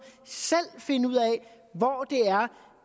selv finde ud af hvor